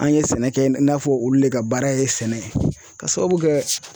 An ye sɛnɛ kɛ i n'a fɔ olu le ka baara ye sɛnɛ ye k'a sababu kɛ